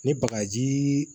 Ni bagajii